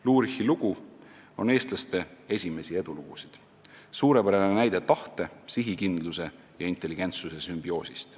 " Lurichi lugu on eestlaste esimesi edulugusid, suurepärane näide tahte, sihikindluse ja intelligentsuse sümbioosist.